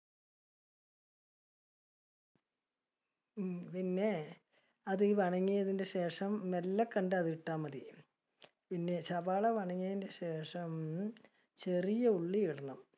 ഉം പിന്നെ, അത് ഈ ശേഷം, മെല്ലെ കൊണ്ടോയി അത് ഇട്ടാൽ മതി. പിന്നെ സവാള ശേഷം, ചെറിയ ഉള്ളി ഇടണം.